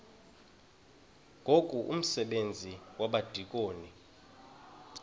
ngoku umsebenzi wabadikoni